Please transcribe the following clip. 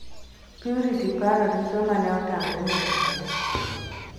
Purity paro dichuo mane otamre nindo kode.